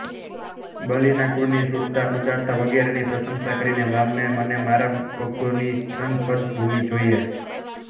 બલીના કુળની શૂરતા ઉદારતા વગેરેની પ્રશંશા કરીને વામને મને મારા પગોથી ત્રણ પદ ભૂમિ જોઈએ